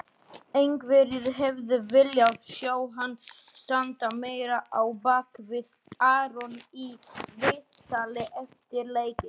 Einhverjir hefðu viljað sjá hann standa meira á bakvið Aron í viðtali eftir leikinn.